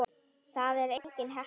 Það er engin heppni.